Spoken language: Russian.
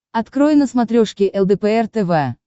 открой на смотрешке лдпр тв